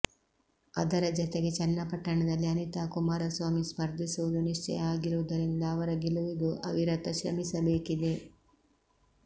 ಅದರ ಜತೆಗೆ ಚನ್ನಪಟ್ಟಣದಲ್ಲಿ ಅನಿತಾ ಕುಮಾರಸ್ವಾಮಿ ಸ್ಪರ್ಧಿಸುವುದು ನಿಶ್ಚಯ ಆಗಿರುವುದರಿಂದ ಅವರ ಗೆಲುವಿಗೂ ಅವಿರತ ಶ್ರಮಿಸಬೇಕಿದೆ